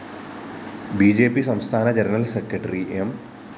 B J P സംസ്ഥാന general secretary M